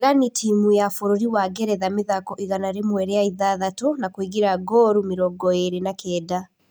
Regani timu ya bũrũri wa Ngeretha mĩthako igana rĩmwe rĩa ithathatũ na kũingĩrĩa ngooru mĩrongo ĩrĩ na kenda.